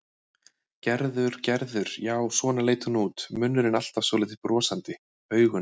Gerður, Gerður, já, svona leit hún út, munnurinn alltaf svolítið brosandi, augun.